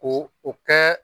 Ko u kɛ